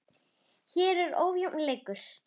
Hér var ójafn leikur.